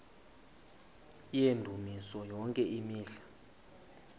yendumiso yonke imihla